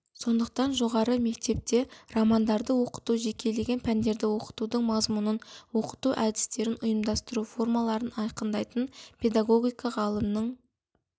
сондықтан жоғары мектепте романдарды оқыту жекелеген пәндерді оқытудың мазмұнын оқыту әдістерін ұйымдастыру формаларын айқындайтын педагогика ғалымның